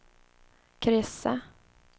kryssa